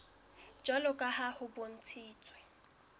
jwalo ka ha ho bontshitswe